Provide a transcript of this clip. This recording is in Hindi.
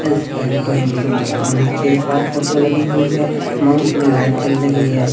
एल्स एंड गोइंग टू और नीचे एक और फोटो लगी हुई है माउस में लाइट चल रही है।